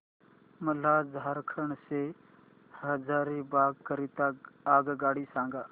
मला झारखंड से हजारीबाग करीता आगगाडी सांगा